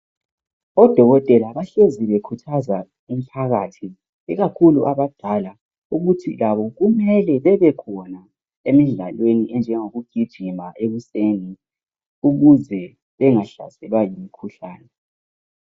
Odokotela bahlezi bekhuthaza umphakathi, ikakhulu abadala. Ukuthi labo kumele bebekhona emidlalweni enjengokugijima ekuseni. Ukuze bangahlaselwa yimikhuhlane.